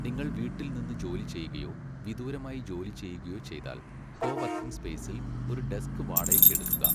നിങ്ങൾ വീട്ടിൽ നിന്ന് ജോലി ചെയ്യുകയോ വിദൂരമായി ജോലി ചെയ്യുകയോ ചെയ്താൽ, കോവർക്കിംഗ് സ്പേസിൽ ഒരു ഡെസ്ക് വാടകയ്ക്ക് എടുക്കുക.